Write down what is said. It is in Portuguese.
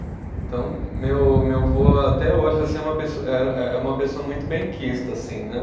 Então, meu meu vô até hoje assim é uma pessoa, era é uma pessoa muito benquista, assim, né?